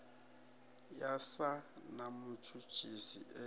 ya sa na mutshutshisi e